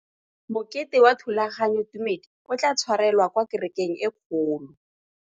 Mokete wa thulaganyôtumêdi o tla tshwarelwa kwa kerekeng e kgolo.